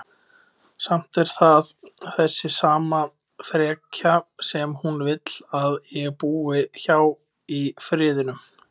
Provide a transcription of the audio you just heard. Samt er það þessi sama frekja sem hún vill að ég búi hjá í Firðinum.